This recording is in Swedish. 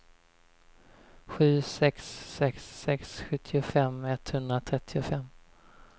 sju sex sex sex sjuttiofem etthundratrettiofem